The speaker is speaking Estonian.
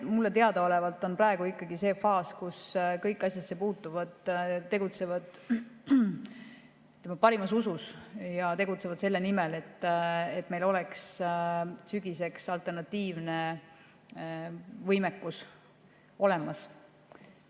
Mulle teadaolevalt on praegu ikkagi see faas, kus kõik asjasse puutuvad tegutsevad parimas usus ja selle nimel, et meil oleks sügiseks alternatiivne võimekus olemas.